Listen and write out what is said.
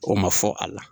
O ma fɔ a la